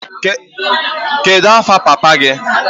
Kedu afa papa gị?